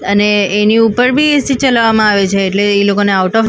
અને એની ઉપર બી એસી ચલાવામાં આવે છે એટલે એ લોકાને આઉટ ઓફ --